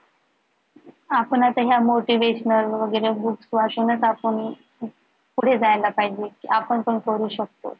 आपण आता ह्या motivational वगैरे group पासूनच आता तुम्ही पुढे जायला पाहिजे आपण पण करू शकतो